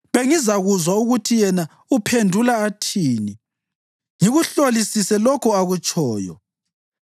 Bengizakuzwa ukuthi yena uphendula athini, ngikuhlolisise lokho akutshoyo.